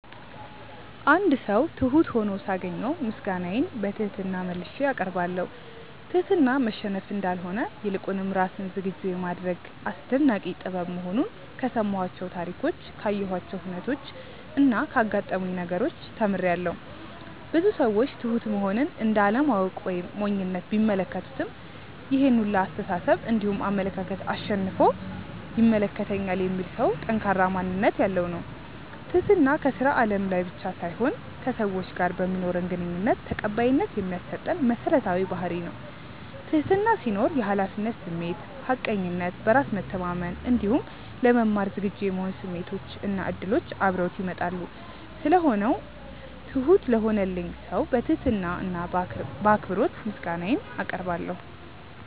አንድ ሰው ትሁት ሁኖ ሳገኘው ምስጋናዬን በትህትና መልሼ አቀርባለሁ። ትህትና መሸነፍ እንዳልሆነ ይልቁንም ራስን ዝግጁ የማድረግ አስደናቂ ጥበብ መሆኑን ከሰማኋቸው ታሪኮች ካየኋቸው ሁነቾች እና ካጋጠሙኝ ነገሮች ተምሬያለው። ብዙ ሰዎች ትሁት መሆንን እንደ አለማወቅ ወይም ሞኝነት ቢመለከቱትም ይሄን ሁላ አስተሳሰብ እንዲሁም አመለካከት አሸንፎ ይመለከተኛል የሚል ሰው ጠንካራ ማንነት ያለው ነው። ትህትና ከስራ አለም ላይ ብቻ ሳይሆን ከሰዎች ጋር በማኖረን ግንኙነት ተቀባይነት የሚያሰጠን መሰረታዊ ባህርይ ነው። ትህትና ሲኖር የሀላፊነት ስሜት፣ ሀቀኝነት፣ በራስ መተማመን እንዲሁም ለመማር ዝግጁ የመሆን ስሜቶች እና እድሎች አብረውት ይመጣሉ። ስለሆነው ትሁት ለሆነልኝ ሰው በትህትና እና በአክብሮት ምስጋናዬን አቀርባለሁ።